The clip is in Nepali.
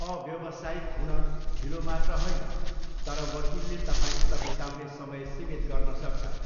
अव्यवसायिक हुन ढिलो मात्र होइन तर वकिलले तपाईँसित बिताउने समय सीमित गर्न सक्छन्।